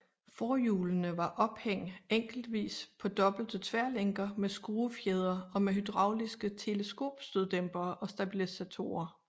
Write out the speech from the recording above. Forhjulene var ophæng enkeltvis på dobbelte tværlænker med skruefjedre og med hydrauliske teleskopstøddæmpere og stabilisatorer